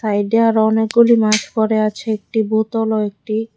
সাইডে আরো অনেকগুলি মাছ পরে আছে একটি বোতল ও একটি--